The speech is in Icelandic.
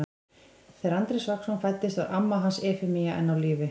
Þegar Andrés Vagnsson fæddist var amma hans Efemía enn á lífi.